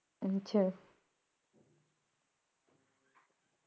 ਅੱਛਾ